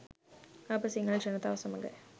අප සිංහල ජනතාව සමග